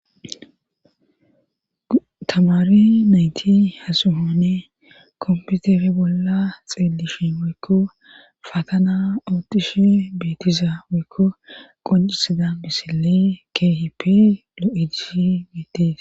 tamari nayti hasuhoone komputere bolla xeelishin woykko fatana oothishe beetiza woykko qoncisida misile keehipe lo'ees geettes.